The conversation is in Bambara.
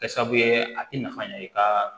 Kɛ sabu ye a ti nafa ɲɛ i ka